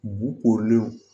Bu korilenw